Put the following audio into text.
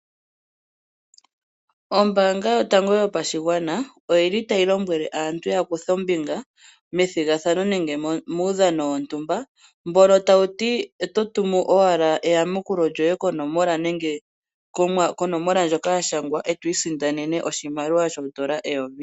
Ombaanga yotango yopashigwana oyi li tayi lombwele aantu ya kuthe ombinga methigathano nenge muudhano wontumba mbono tawu ti kutya oto tumu owala eyakulo lyoye konomola ndjoka ya gandjwa e to i sindanene oshimaliwa shoodola eyovi.